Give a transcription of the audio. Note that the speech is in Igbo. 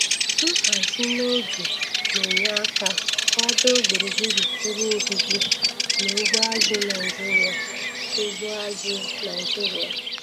Nhazi n'oge na-enye aka kwado gburugburu ebe obibi na ugbo azụ̀ Naịjiria. ugbo azụ̀ Naịjiria.